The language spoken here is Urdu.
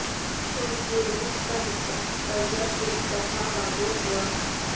اور یہ روس کا حصہ پر جب یکطرفہ وعدوں ہوا